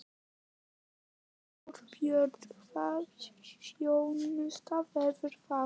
Þorbjörn: Hvaða þjónusta verður það?